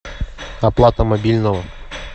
оплата мобильного